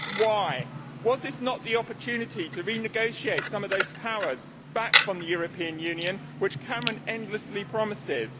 Why? Was this not the opportunity to renegotiate some of those powers back from the European Union, as Cameron endlessly promises?